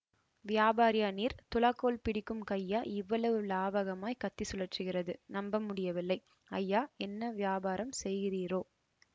வியாபாரியா நீர் துலாக்கோல் பிடிக்கும் கையா இவ்வளவு லாவகமாய்க் கத்தி சுழற்றுகிறது நம்ப முடியவில்லை ஐயா என்ன வியாபாரம் செய்கிறீரோ